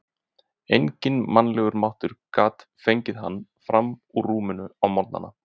Enginn mannlegur máttur gat fengið hann fram úr rúminu á morgnana.